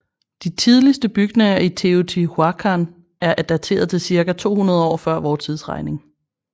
De tidligste bygninger i Teotihuacan er dateret til cirka 200 år fvt